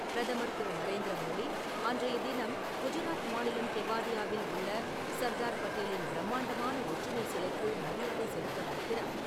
பிரதமர் திரு.நரேந்திர மோடி, அன்றைய தினம், குஜராத் மாநிலம் கெவாடியாவில் உள்ள சர்தார் பட்டேலின் பிரமாண்டமான ஒற்றுமை சிலைக்கு மரியாதை செலுத்தவிருக்கிறார்.